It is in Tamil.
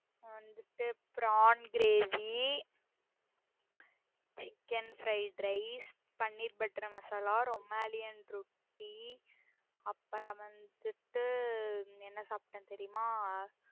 நா வந்துட்டு prone gravy chicken fried rice, paneer butter masala rumali roti அப்பறம் வந்துட்டு என்ன சாப்பிட்டன் தெறியுமா